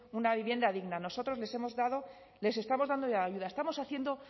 una vivienda digna nosotros les estamos dando ayuda estamos